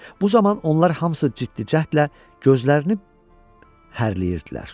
Bu zaman onlar hamısı ciddi cəhdlə gözlərini hərliyirdilər.